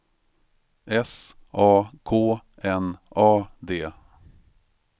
S A K N A D